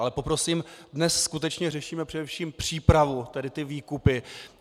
Ale poprosím, dnes skutečně řešíme především přípravu, tady ty výkupy.